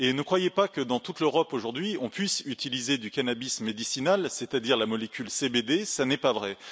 Ne croyez pas que dans toute l'Europe aujourd'hui, on puisse utiliser du cannabis médicinal, c'est à dire la molécule CBD, ce n'est pas vrai.